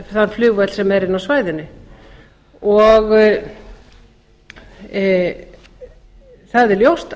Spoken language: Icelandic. þann flugvöll sem er inni á svæðinu það er ljóst